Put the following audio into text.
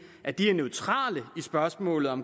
at de er neutrale i spørgsmålet om